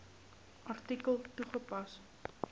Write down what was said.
artikel toegepas